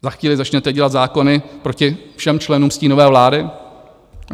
Za chvíli začnete dělat zákony proti všem členům stínové vlády?